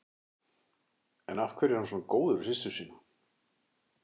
En af hverju er hann svona góður við systur sína?